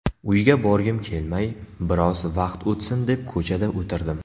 Uyga borgim kelmay, biroz vaqt o‘tsin deb ko‘chada o‘tirdim.